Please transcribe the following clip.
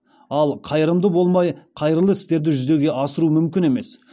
ал қайырымды болмай қайырлы істерді жүзеге асыру мүмкін емес